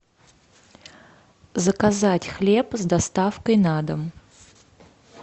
заказать хлеб с доставкой на дом